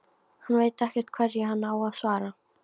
Hann veit ekkert hverju hann á að svara.